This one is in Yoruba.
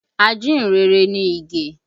Ajíhìn-rere ni Ige